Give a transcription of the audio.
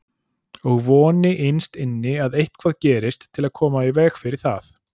Og voni innst inni að eitthvað gerist til að koma í veg fyrir það.